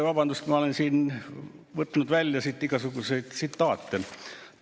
Vabandust, ma olen siin võtnud välja igasuguseid tsitaate.